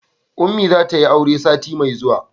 ummi za ta yi aure sati mai zuwa